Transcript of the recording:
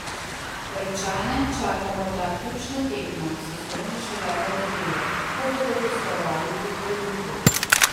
Rečane čaka morda ključna tekma sezone šele v nedeljo, ko bodo gostovali pri Hajduku.